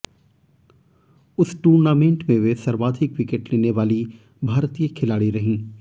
उस टूर्नामेंट में वे सर्वाधिक विकेट लेने वाली भारतीय खिलाड़ी रहीं